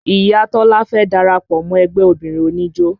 Iya Tọ́lá fẹ́ darapọ̀ mọ́ ẹgbẹ́ obìnrin oníjó